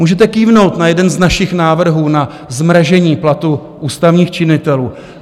Můžete kývnout na jeden z našich návrhů na zmražení platů ústavních činitelů.